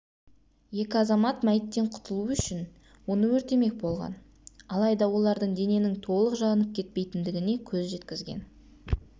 екі азамат мәйіттен құтылу үшін оны өртемек болған алайда олар дененің толық жанып кетпейтіндігіне көз жеткізген